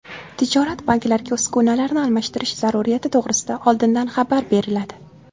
Tijorat banklariga uskunalarni almashtirish zaruriyati to‘g‘risida oldindan xabar beriladi.